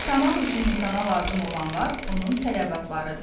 Yaşamaq üçün insana lazım olanlar onun tələbatlarıdır.